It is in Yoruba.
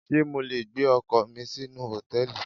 Ṣé mo le gbé ọkọ̀ mi sínú Hòtẹ́lìì?